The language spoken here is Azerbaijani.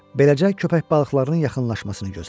Beləcə köpək balıqlarının yaxınlaşmasını gözlədi.